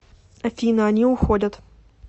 афина они уходят